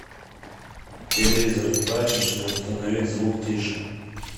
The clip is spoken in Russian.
телевизор в прачечной установить звук тише